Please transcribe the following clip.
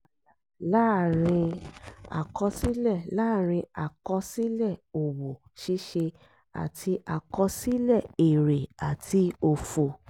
pàlà láàárin àkọsílẹ láàárin àkọsílẹ òwò ṣíṣe àti àkọsílẹ èrè àti òfò.